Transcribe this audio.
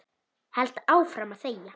Held áfram að þegja.